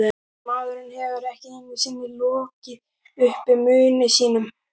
Maðurinn hefur ekki einu sinni lokið upp munni sínum.